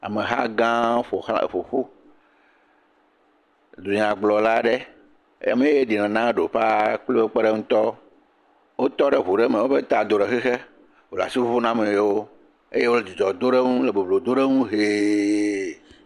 Ameha gãwo ƒo ƒu, dunya gblɔ aɖe…